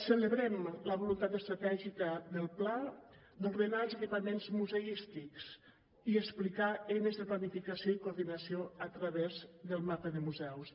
celebrem la voluntat estratègica del pla d’ordenar els equipaments museístics i explicar eines de planificació i coordinació a través del mapa de museus